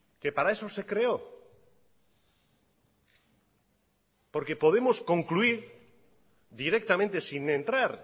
que para eso se creó porque podemos concluir directamente sin entrar